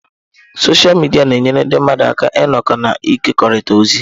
Sọsha midia na-enyere ndị mmadụ aka ịnọkọ na ịkekọrịta ozi.